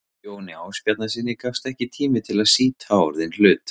Jóni Ásbjarnarsyni gafst ekki tími til að sýta orðinn hlut.